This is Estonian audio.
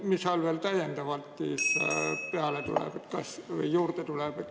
Mis seal veel täiendavalt juurde tuleb?